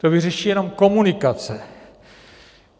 To vyřeší jenom komunikace.